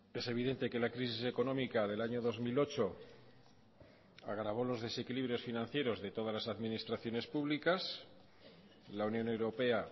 es evidente que la crisis económica del año dos mil ocho agravó los desequilibrios financieros de todas las administraciones públicas la unión europea